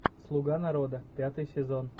слуга народа пятый сезон